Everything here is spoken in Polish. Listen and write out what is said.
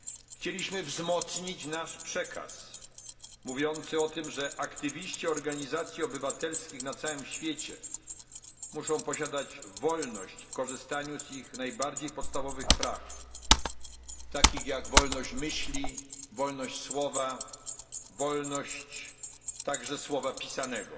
Chcieliśmy wzmocnić nasz przekaz mówiący o tym, że aktywiści organizacji obywatelskich na całym świecie muszą posiadać wolność w korzystaniu z ich najbardziej podstawowych praw, takich jak wolność myśli, słowa, wolność także słowa pisanego.